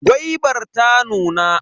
Gwaibar ta nuna.